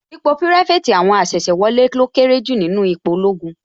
Ipò pirafeti àwọn asese wọlé lọ kéré jù nínú ipò ológun